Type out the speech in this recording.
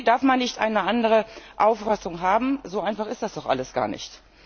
Darf man nicht eine andere Auffassung haben? So einfach ist das doch alles gar nicht.